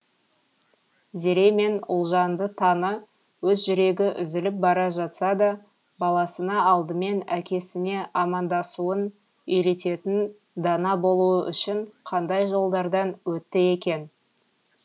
зере мен ұлжанды таны өз жүрегі үзіліп бара жатса да баласына алдымен әкесіне амандасуын үйрететін дана болуы үшін қандай жолдардан өтті екен